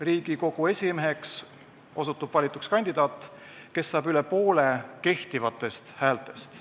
Riigikogu esimeheks valituks osutub kandidaat, kes saab üle poole kehtivatest häältest.